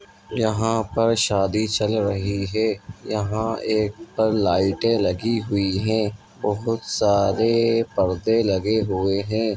यहाँ पर शादी चल रही है यहाँ एक पर लाइटें लगी हुई हैं बहुत सारे परदे लगे हुए हैं।